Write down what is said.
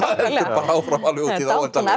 áfram alveg út í hið óendanlega